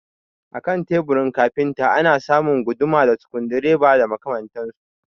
A kan teburin kafinta ana samun guduma da sikurudireba da makamantansu